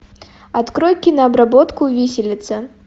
открой кинообработку виселица